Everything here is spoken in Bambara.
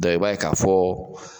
i b'a ye ka fɔ